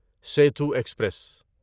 Setu express